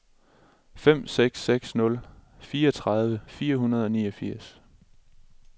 fem seks seks nul fireogtredive fire hundrede og niogfirs